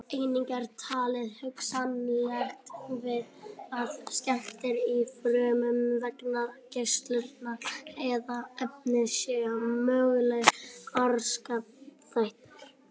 Einnig er talið hugsanlegt að skemmdir á frumum vegna geislunar eða efna séu mögulegir orsakaþættir.